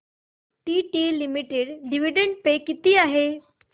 TT limited dividend pay किती आहे